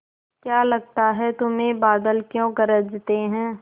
क्या लगता है तुम्हें बादल क्यों गरजते हैं